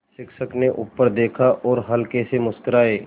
शिक्षक ने ऊपर देखा और हल्के से मुस्कराये